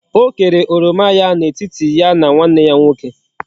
O kere oroma ya na etiti ya na nwanne ya nwoke